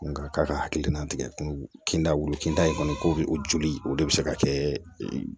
Nga k'a ka hakilina tigɛ kun kinda wolo kinda in kɔni ko bɛ o joli o de bɛ se ka kɛ